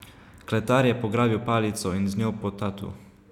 Kletar je pograbil palico in z njo po tatu.